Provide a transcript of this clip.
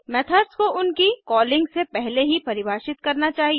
methods को उनकी calling से पहले ही परिभाषित करना चाहिए